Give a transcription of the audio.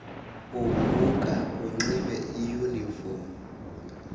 uvuka unxibe iyuniform